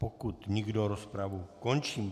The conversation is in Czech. Pokud nikdo, rozpravu končím.